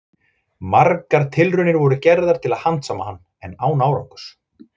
Margar tilraunir voru gerðar til að handsama hann, en án árangurs.